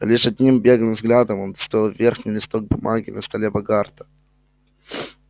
лишь одним беглым взглядом он удостоил верхний листок бумаги на столе богарта